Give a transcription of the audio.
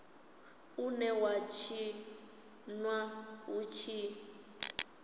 une wa tshinwa hu tshi